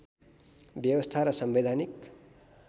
व्यवस्था र संवैधानिक